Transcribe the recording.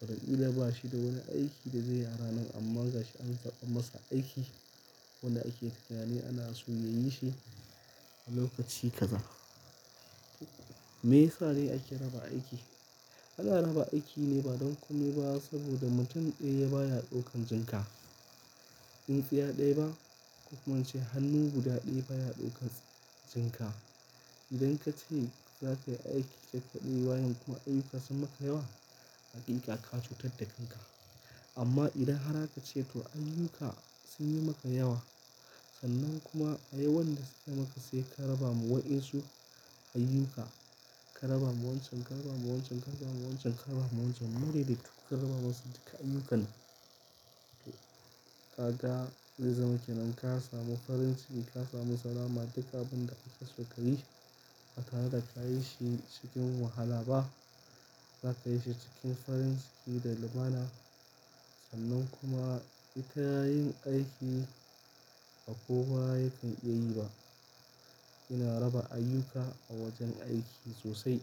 Watakila ba shi da wani aiki da zai yi a ranar amma gashi an zaɓa masa aiki wanda ake tunani ana so ya yi shi a lokaci kaza. Me yasa ne ake raba aiki? Ana raba aiki ne ba don komai ba saboda mutum ɗaya baya ɗaukan jinka. Tsintsiya ɗaya ba ko kuma ce hannu guda ɗaya baya ɗaukar jinka. Idan ka ce za ka yi aiki kai kaɗai bayen kuma ayyuka sun maka yawa, haƙiƙa ka cutar da kanka. Amma idan har aka ce to ayyuka sun yi maka yawa, sannan kuma a'yawan da suka yi maka sai ka raba ma waɗansu ayyuka. Ka raba ma wancan, ka raba ma wancan, ka raba ma wancan, ka raba ma wancan. Morede duk ka raba masu duka ayyukan. Ka ga zai zama kenan ka samu farin ciki, ka samu salama duk abun da kake so ka yi. Ba tare da ka yi shi cikin wahala ba. Za ka yi shi cikin farin ciki da lumana. Sannan kuma ita yin aiki ba kowa yakan iya yi ba. Ina raba ayyuka a wajen aiki sosai.